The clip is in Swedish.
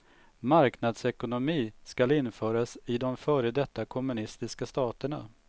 Marknadsekonomi skall införas i de före detta kommunistiska staterna.